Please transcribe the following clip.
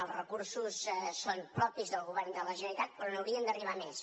els recursos són propis del govern de la generalitat però n’haurien d’arribar més